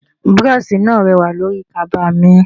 Búróóṣì náà rẹwà lórí kaba mi.